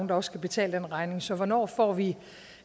der skal betale den regning så hvornår får vi